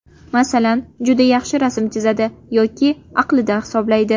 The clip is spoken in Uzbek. Masalan, juda yaxshi rasm chizadi yoki aqlida hisoblaydi.